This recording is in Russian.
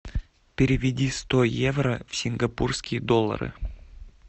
переведи сто евро в сингапурские доллары